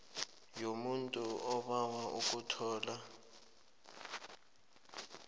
yomuntu obawa ukuthola